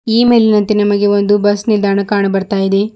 ಈ ಮೇಲಿನಂತೆ ನಿಮಗೆ ಒಂದು ಬಸ್ ನಿಲ್ದಾಣ ಕಾಣ ಬರ್ತಾ ಇದೆ.